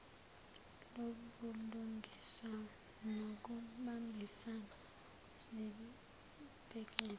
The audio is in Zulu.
lobulungiswa nokubambisana zibhekele